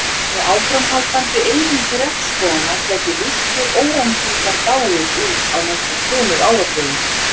Með áframhaldandi eyðingu regnskóganna gætu villtir órangútanar dáið út á næstu tveimur áratugum.